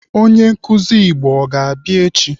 Onye nkụzi Igbo ọ ga-abịa echi?